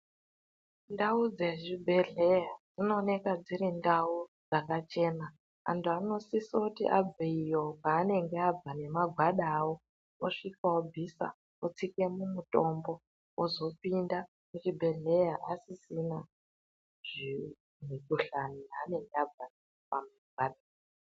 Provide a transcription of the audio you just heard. Ndau dzezvibhedhleya dzinoneka dziri ndau dzakachena. Antu anosisoti abveyo kwaanenge abva nemagwada avo osvika obvisa osvika mumutombo, ozopinda muchibhedhleya asisina zvivi zvekushanda anonga abva.